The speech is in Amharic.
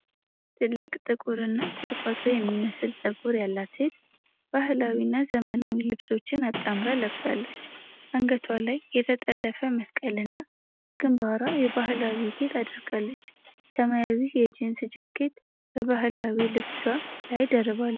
ትልቅ ጥቁርና ቁጥቋጦ የሚመስል ጸጉር ያላት ሴት ባህላዊና ዘመናዊ ልብሶችን አጣምራ ለብሳለች። አንገቷ ላይ የተጠለፈ መስቀልና በግንባሯ የባህላዊ ጌጥ አድርጋለች። ሰማያዊ የጂንስ ጃኬት በባህላዊ ልብሷ ላይ ደርባለች።